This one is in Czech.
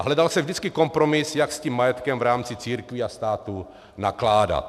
A hledal se vždycky kompromis, jak s tím majetkem v rámci církví a státu nakládat.